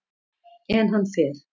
En hann fer.